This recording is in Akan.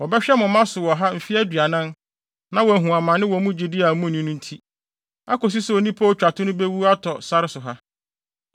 Wɔbɛhwɛ mo mma so wɔ ha mfe aduanan, na wɔahu amane wɔ mo gyidi a munni no nti; akosi sɛ onipa a otwa to no bewu atɔ sare so ha.